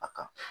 A ka